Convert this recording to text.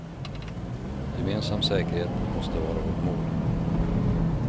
Gemensam säkerhet måste vara vårt mål.